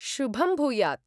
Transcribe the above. शुभं भूयात्।